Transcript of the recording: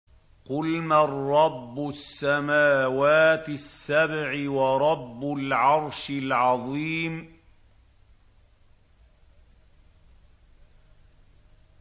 قُلْ مَن رَّبُّ السَّمَاوَاتِ السَّبْعِ وَرَبُّ الْعَرْشِ الْعَظِيمِ